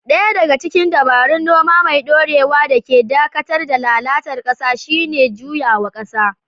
Ɗaya daga cikin dabarun noma mai ɗorewa da ke dakatar da lalata ƙasa shine juyawa ƙasa.